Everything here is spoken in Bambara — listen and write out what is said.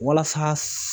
Walasa